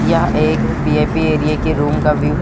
यह एक VIP area के रूम का व्यू है।